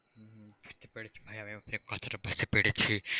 পেরেছি ভাই আমি আপনার কথাটা বুঝতে পেরেছি।